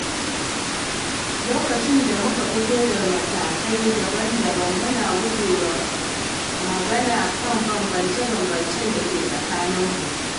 Lokacin da muka fito daga matakai daban-daban, muna guje wa magana kan bambance-bambancen da ke tsakaninmu.